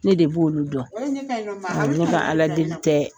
Ne de b' olu dɔn n ka n ka Ala deli tɛ